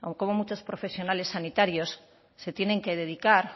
cómo muchos profesionales sanitarios se tienen que dedicar